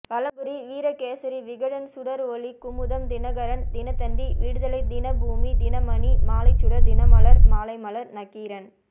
Valampuri Virakesari Vikatan Sudar Oli Kumudam Dinakaran Dinathanthi Viduthalai Dinaboomi Dinamani Malaisudar Dinamalar Malaimalar Nakkheeran